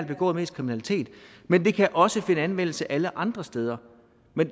begået mest kriminalitet men det kan også finde anvendelse alle andre steder